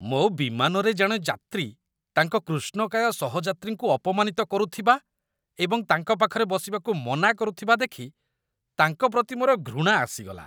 ମୋ ବିମାନରେ ଜଣେ ଯାତ୍ରୀ ତାଙ୍କ କୃଷ୍ଣକାୟ ସହଯାତ୍ରୀଙ୍କୁ ଅପମାନିତ କରୁଥିବା ଏବଂ ତାଙ୍କ ପାଖରେ ବସିବାକୁ ମନା କରୁଥିବା ଦେଖି ତାଙ୍କ ପ୍ରତି ମୋର ଘୃଣା ଆସିଗଲା।